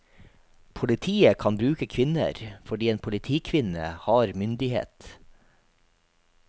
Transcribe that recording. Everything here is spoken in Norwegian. Politiet kan bruke kvinner, fordi en politikvinne har myndighet.